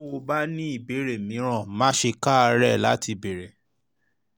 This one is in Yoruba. tó o o bá ní ìbéèrè mìíràn má ṣe káàárẹ̀ láti béèrè